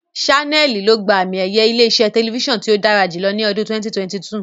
Ṣánẹ́ẹ̀lì ló gba àmi-ẹ̀yẹ ilé-iṣẹ́ tẹlifíṣàn tí ó dára jùlọ ní ọdún 2022.